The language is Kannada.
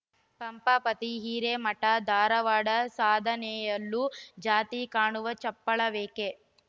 ಪಂಪಾಪತಿ ಹಿರೇಮಠಧಾರವಾಡ ಸಾಧನೆಯಲ್ಲೂ ಜಾತಿ ಕಾಣುವ ಚಪಳ ವೇಕೆ